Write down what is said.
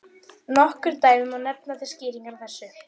Hafsteina, hvaða sýningar eru í leikhúsinu á sunnudaginn?